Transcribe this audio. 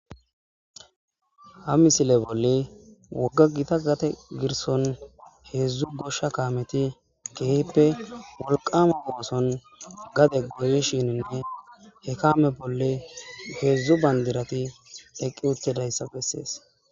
ha misile bolle wogga gita gate girson heedzdzu goshsha kaameti keehippe wolqama gooson gade goyishininne he kame bolle heedzdzu bandirati eqqi uttedayssa bessees